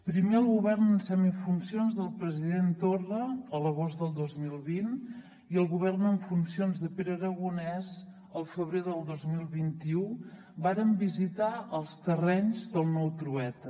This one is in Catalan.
primer el govern en semifuncions del president torna a l’agost del dos mil vint i el govern en funcions de pere aragonès el febrer del dos mil vint u varen visitar els terrenys del nou trueta